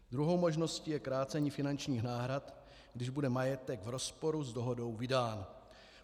Druhou možností je krácení finančních náhrad, když bude majetek v rozporu s dohodou vydán.